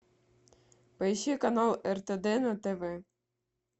поищи канал ртд на тв